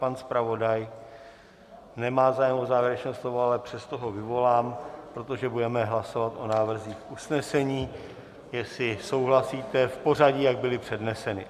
Pan zpravodaj nemá zájem o závěrečné slovo, ale přesto ho vyvolám, protože budeme hlasovat o návrzích usnesení, jestli souhlasíte, v pořadí, jak byly předneseny.